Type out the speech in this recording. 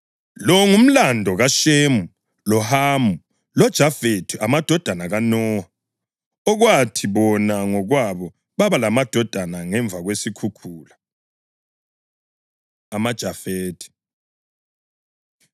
Lo ngumlando kaShemu, loHamu loJafethi, amadodana kaNowa, okwathi bona ngokwabo baba lamadodana ngemva kwesikhukhula. AmaJafethi